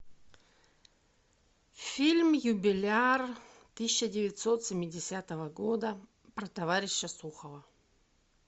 фильм юбиляр тысяча девятьсот семидесятого года про товарища сухова